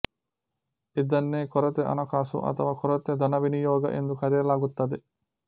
ಇದನ್ನೇ ಕೊರತೆ ಹಣಕಾಸು ಅಥವ ಕೊರತೆ ಧನವಿನಿಯೋಗ ಎಂದು ಕರೆಯಲಾಗುತ್ತದೆ